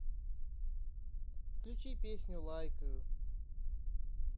включи песню лайкаю